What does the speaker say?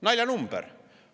Naljanumber!